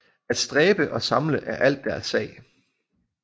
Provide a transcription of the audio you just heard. At stræbe og samle er alt deres sag